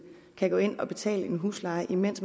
kan gå ind og betale en husleje mens